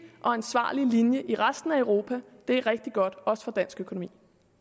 ansvarlig linje i resten af europa det er rigtig godt også for dansk økonomi